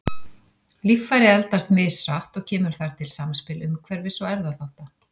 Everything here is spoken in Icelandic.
Líffæri eldast mishratt og kemur þar til samspil umhverfis- og erfðaþátta.